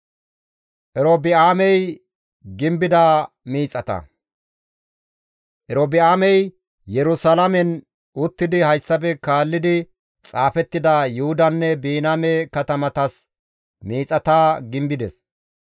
Erobi7aamey Yerusalaamen uttidi hayssafe kaallidi xaafettida Yuhudanne Biniyaame katamatas miixata gimbides.